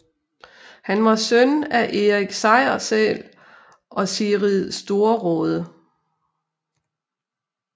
Han var søn af Erik Sejrsæl og Sigrid Storråde